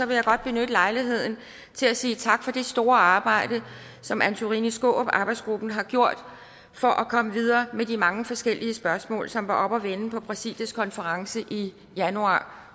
vil jeg godt benytte lejligheden til at sige tak for det store arbejde som antorini skaarup arbejdsgruppen har gjort for at komme videre med de mange forskellige spørgsmål som var oppe at vende på præsidiets konference i januar